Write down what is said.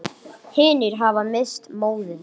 Hinir hafa misst móðinn.